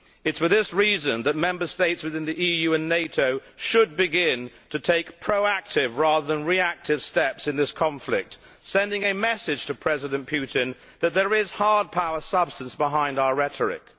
It is for this reason that Member States within the EU and NATO should begin to take proactive, rather than reactive, steps in this conflict, sending a message to President Putin that there is hard power substance behind our rhetoric.